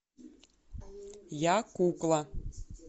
я кукла